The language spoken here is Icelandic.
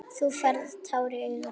Þú færð tár í augun.